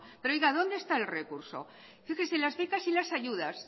pero dónde está el recurso fíjese